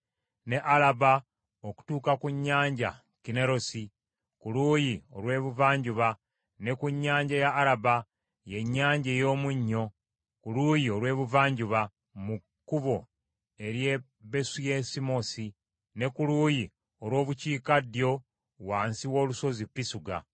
ne Alaba okutuuka ku nnyanja Kinnerosi, ku luuyi olw’ebuvanjuba, ne ku Nnyanja ya Araba y’Ennyanja ey’Omunnyo ku luuyi olw’ebuvanjuba mu kkubo ery’e Besu Yesimosi, ne ku luuyi olw’obukiikaddyo wansi w’olusozi Pisuga,